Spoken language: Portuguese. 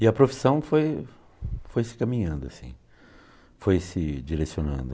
E a profissão foi foi se caminhando, assim, foi se direcionando.